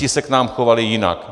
Ti se k nám chovali jinak.